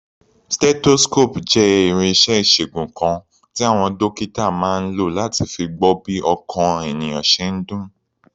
Stethoscope jẹ́ irinṣẹ́ ìṣègùn kan tí àwọn dókítà máa ń lò láti fi gbọ́ bí ọkàn ènìyàn ṣe ń dún.